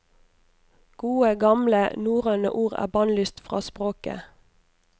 Gode, gamle norrøne ord er bannlyst fra språket.